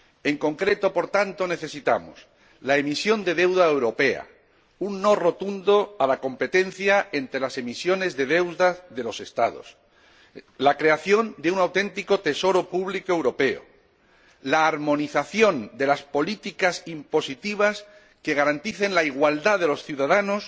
En concreto, por tanto, necesitamos la emisión de deuda europea, un no rotundo a la competencia entre las emisiones de deuda de los Estados, la creación de un auténtico tesoro público europeo y la armonización de las políticas impositivas que garanticen la igualdad de los ciudadanos,